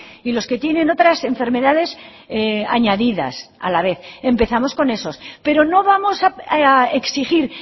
y los que tienen otras enfermedades añadidas a la vez empezamos con esos pero no vamos a exigir